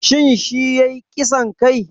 Shin shi yayi ƙisan kai?